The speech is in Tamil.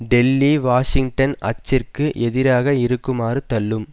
டெல்லி வாஷிங்டன் அச்சிற்கு எதிராக இருக்குமாறு தள்ளும்